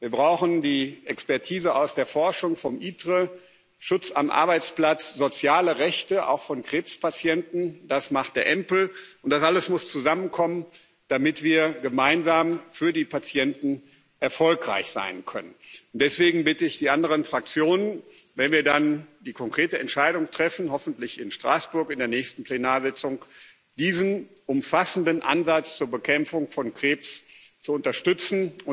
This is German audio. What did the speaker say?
Wir brauchen die Expertise aus der Forschung vom ITRE Ausschuss, Schutz am Arbeitsplatz, soziale Rechte auch von Krebspatienten das macht der EMPL Ausschuss. Das alles muss zusammenkommen, damit wir gemeinsam für die Patienten erfolgreich sein können. Deswegen bitte ich die anderen Fraktionen wenn wir dann die konkrete Entscheidung treffen, hoffentlich in Straßburg in der nächsten Plenarsitzung diesen umfassenden Ansatz zur Bekämpfung von Krebs zu unterstützen.